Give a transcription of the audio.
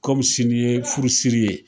Kɔmi sini ye furusiri ye